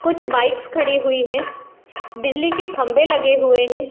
कुछ बाइक्स खड़ी हुई हैं। बिजली के खंबे लगे हुए हैं।